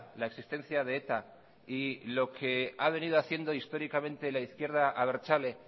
la existencia de eta y lo que ha venido haciendo históricamente la izquierda abertzale